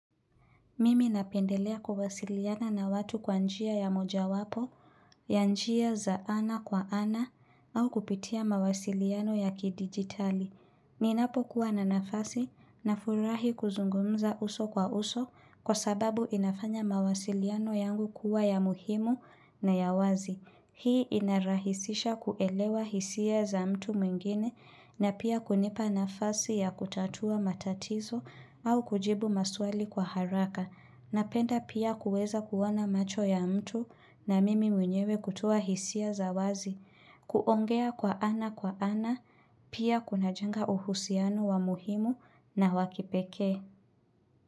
Mimi napendelea kuwasiliana na watu kwa njia ya moja wapo, ya njia za ana kwa ana, au kupitia mawasiliano ya kidigitali. Ninapokuwa na nafasi nafurahi kuzungumza uso kwa uso kwa sababu inafanya mawasiliano yangu kuwa ya muhimu na ya wazi. Hii inarahisisha kuelewa hisia za mtu mwingine na pia kunipa nafasi ya kutatua matatizo au kujibu maswali kwa haraka. Napenda pia kuweza kuona macho ya mtu na mimi mwenyewe kutoa hisia za wazi, kuongea kwa ana kwa ana, pia kunajenga uhusiano wa muhimu na wakipekee.